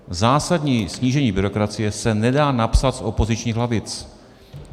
Zásadní snížení byrokracie se nedá napsat z opozičních lavic.